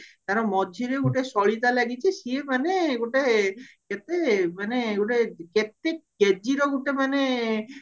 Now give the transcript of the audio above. ତାର ମଝିରେ ଗୋଟେ ସଳିତା ଲାଗିଚି ସିଏ ମାନେ ଗୋଟେ କେତେ ମାନେ ଗୋଟେ କେତେ KG ର ଗୋଟେ ମାନେ